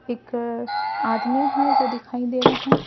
एक आदमी है जो दिखाई दे रहे हैं।